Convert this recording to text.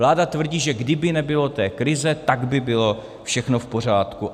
Vláda tvrdí, že kdyby nebylo té krize, tak by bylo všechno v pořádku.